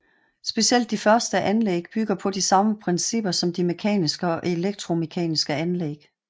Specielt de først anlæg bygger på de samme principper som de mekaniske og elektromekaniske anlæg